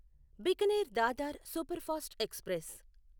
Bikaner Dadar superfast express